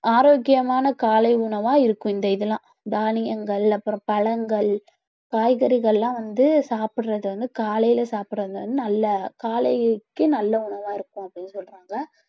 ஆரோக்கியமான காலை உணவா இருக்கும் இந்த இதெல்லாம் தானியங்கள் அப்புறம் பழங்கள் காய்கறிகள்லாம் வந்து சாப்பிடுறது வந்து காலையில சாப்பிடறது வந்து நல்ல காலைக்கு நல்ல உணவா இருக்கும் அப்பிடின்னு சொல்றாங்க